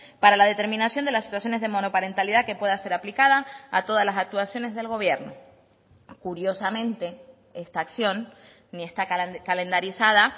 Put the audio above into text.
para la determinación de las situaciones de monoparentalidad que pueda ser aplicada a todas las actuaciones del gobierno curiosamente esta acción ni está calendarizada